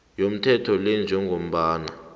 yomthetho lo njengombana